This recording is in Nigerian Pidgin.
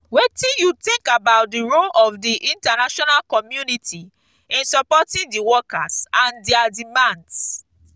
wetin you think about di role of di international community in supporting di workers and dia demands?